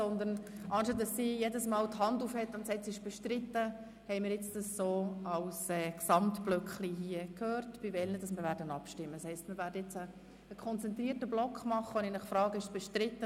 Wir haben uns auf dieses Vorgehen geeinigt, anstatt dass sich Grossrätin Machado Rebmann bei jedem bestrittenen Artikel meldet.